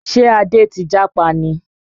Ṣé Adé ti jápa ni?